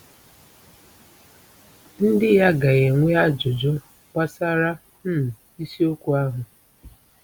Ndị ya ga-enwe ajụjụ gbasara um isiokwu ahụ.